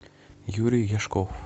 юрий яшков